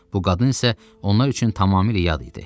Bu qadın isə onlar üçün tamamilə yad idi.